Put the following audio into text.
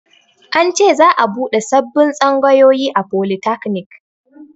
An ce za'a buɗe sabbin tsangayoyi a folitakanik